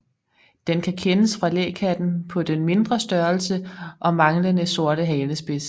Den kan kendes fra lækatten på den mindre størrelse og manglende sorte halespids